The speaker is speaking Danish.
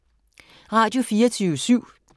Radio24syv